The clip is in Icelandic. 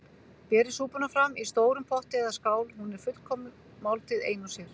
Berið súpuna fram í stórum potti eða skál- hún er fullkomin máltíð ein og sér.